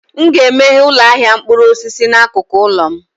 M ga-emeghe ụlọ ahịa mkpụrụ osisi n'akụkụ ụlọ m